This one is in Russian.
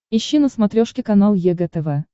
ищи на смотрешке канал егэ тв